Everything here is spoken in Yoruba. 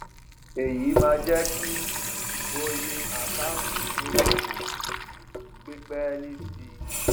èyí máa ń jẹ kí oye àkáǹtì ídókòwó gbé pẹẹlí sí i